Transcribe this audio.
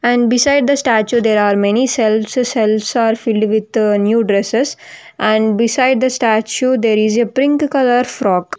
And beside the statue there are many shelves shelves are filled with new dresses and beside the statue there is a pink colour frock.